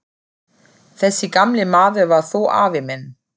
Þessi gamli maður var þó afi minn.